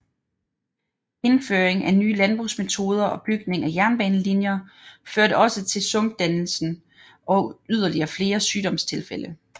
Indføring af nye landbrugsmetoder og bygning af jernbanelinjer førte også til sumpdannelse og yderligere flere sygdomstilfælde